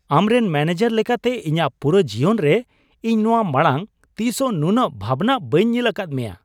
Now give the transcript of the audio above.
ᱟᱢᱨᱮᱱ ᱢᱚᱱᱮᱡᱟᱨ ᱞᱮᱠᱟᱛᱮ ᱤᱧᱟᱹᱜ ᱯᱩᱨᱟᱹᱣ ᱡᱤᱭᱚᱱ ᱨᱮ, ᱤᱧ ᱱᱚᱶᱟ ᱢᱟᱲᱟᱝ ᱛᱤᱥᱦᱚᱸ ᱱᱩᱱᱟᱹᱜ ᱵᱷᱟᱵᱱᱟᱜ ᱵᱟᱹᱧ ᱧᱮᱞ ᱟᱠᱟᱫ ᱢᱮᱭᱟ ᱾